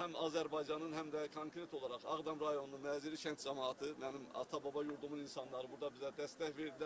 həm Azərbaycanın, həm də konkret olaraq Ağdam rayonunun Məzili kənd camaatı, mənim ata-baba yurdumun insanları burada bizə dəstək verdilər.